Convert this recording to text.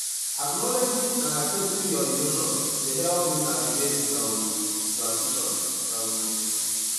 acknowledging and accepting your emotions dey help you navigate um transitions um